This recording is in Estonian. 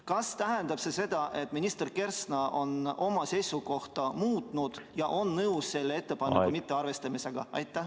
Kas tähendab see seda, et minister Kersna on oma seisukohta muutnud ja on nõus selle ettepaneku mittearvestamisega?